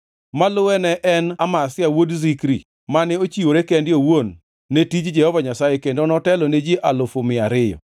maluwe ne en Amasia wuod Zikri mane ochiwore kende owuon ne tij Jehova Nyasaye kendo notelo ne ji alufu mia ariyo (200,000).